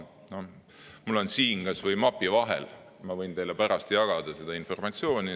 Mul on siin mapi vahel, ma võin teile pärast jagada seda informatsiooni.